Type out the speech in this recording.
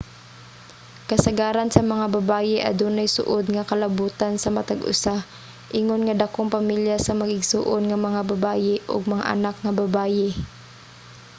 kasagaran sa mga babaye adunay suod nga kalabutan sa matag usa ingon nga dakong pamilya sa mag-igsoon nga mga babaye ug mga anak nga babaye